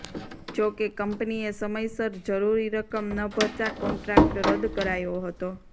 જોકે કંપનીએ સમયસર જરૂરી રકમ ન ભરતા કોન્ટ્રાક્ટ રદ કરાયો હતો